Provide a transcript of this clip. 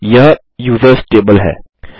यह users table है